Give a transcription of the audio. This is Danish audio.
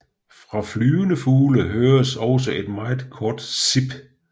Fra flyvende fugle høres også et meget kort sip